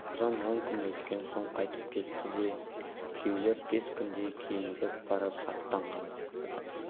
ұлжан он күн өткен соң қайтып кетті де күйеулер бес күндей кейіндеп барып аттанған